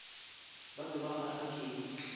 ba be ba kgahlwa ke